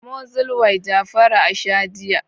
Amozil yJafaru a sha jiya.